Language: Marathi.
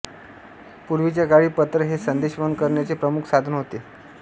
पूर्वीच्या काळी पत्र हे संदेशवहन करण्याचे प्रमुख साधन होते